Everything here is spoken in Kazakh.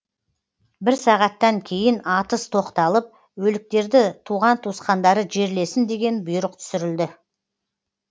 бір сағаттан кейін атыс тоқталып өліктерді туған туысқандары жерлесін деген бұйрық түсірілді